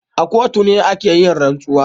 A kotu ne ake yin rantsuwa.